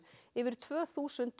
yfir tvö þúsund